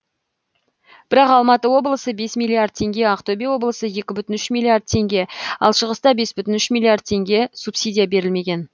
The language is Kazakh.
бірақ алматы облысы бес миллиард теңге ақтөбе облысы екі бүтін үш миллиард теңге ал шығыста бес бүтін үш миллиард теңге субсидия берілмеген